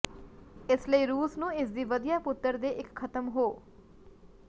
ਇਸ ਲਈ ਰੂਸ ਨੂੰ ਇਸ ਦੀ ਵਧੀਆ ਪੁੱਤਰ ਦੇ ਇੱਕ ਖਤਮ ਹੋ